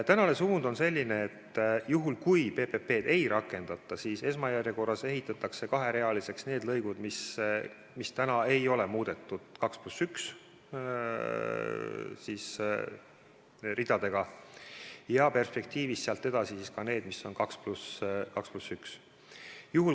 Praegune suund on selline, et juhul kui PPP-d ei rakendata, siis esmajärjekorras ehitatakse kaherealiseks need lõigud, mis praegu ei ole muudetud lõikudeks 2 + 1 ridadega, ja perspektiivis sealt edasi ka need, mis on 2 + 1.